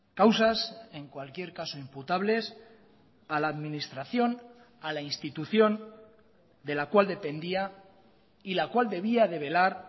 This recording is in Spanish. causas en cualquier caso imputables a la administración a la institución de la cual dependía y la cual debía de velar